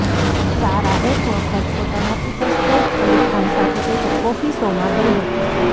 સારા એક વખત પોતાના પિતા સૈફ અલી ખાન સાથે એક કોફી શોમાં ગઈ હતી